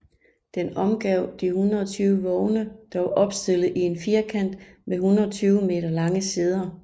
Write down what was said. Den omgav de 120 vogne der var opstillet i en firkant med 120 meter lange sider